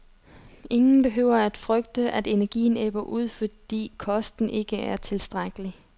Ingen behøver frygte, at energien ebber ud, fordi kosten ikke er tilstrækkelig.